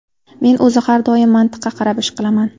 Men o‘zi har doim mantiqqa qarab ish qilaman.